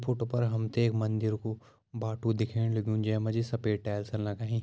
फोटो पर हम त एक मंदिर कू बाटू दिखेण लग्युं जै मा जी सफ़ेद टाइल्स लगाईं।